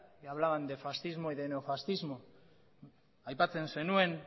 que hablaban de fascismo y de neofascismo aipatzen zenuen